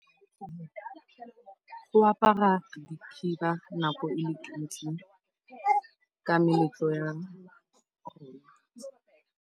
Go apara dikhiba nako e le ntsi ka meletlo ya.